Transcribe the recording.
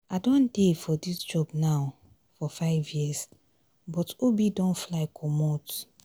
i don dey for dis job now for 5 years but obi don fly comot